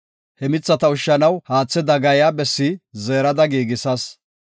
He mithata ushshanaw, haathe dagaaya bessi zeerada giigisas.